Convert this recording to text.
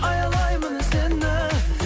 аялаймын сені